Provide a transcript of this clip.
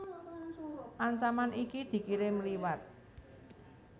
Ancaman iki dikirim liwat